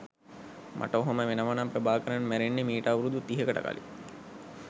මට ඔහොම වෙනවනම් ප්‍රභාකරන් මැරෙන්නේ මිට අවුරුදු තිහකට කලින්